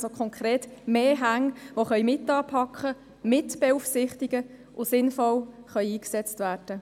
Das heisst konkret, mehr Hände können mit anpacken, mit beaufsichtigen und sinnvoll eingesetzt werden.